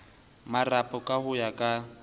marapo ka ho ya ka